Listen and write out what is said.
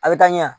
A bɛ taa ɲɛ